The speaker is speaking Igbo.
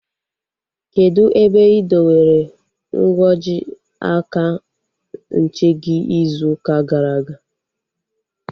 Kedụ ebe ị dowere nkwọji aka nche gị ịzụ ụka gara aga?